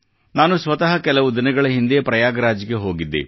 ನಾನು ಸ್ವತಃ ಕೆಲವು ದಿನಗಳ ಹಿಂದೆ ಪ್ರಯಾಗ್ ರಾಜ್ ಗೆ ಹೋಗಿದ್ದೆ